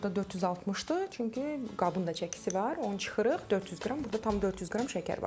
Aha, burda 460-dır, çünki qabın da çəkisi var, onu çıxırıq, 400 qram, burda tam 400 qram şəkər var.